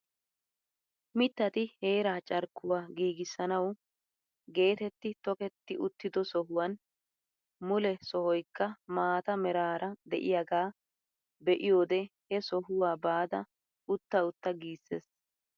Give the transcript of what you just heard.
Mittati heeraa carkkuwaa nagissanawu getetti toketti uttido sohuwan mule sohoykka maata meraara de'iyaagaa be'iyoode he sohuwaa baada utta utta giissees.